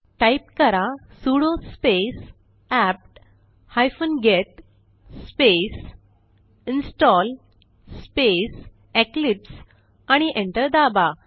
type करा sudo space APT hyphen get space install space Eclipse आणि enter दाबा